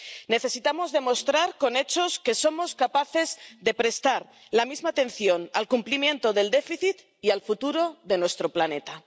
Necesitamos demostrar con hechos que somos capaces de prestar la misma atención al cumplimiento del déficit y al futuro de nuestro planeta.